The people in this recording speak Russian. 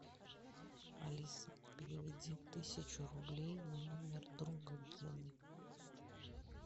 алиса переведи тысячу рублей на номер друга гены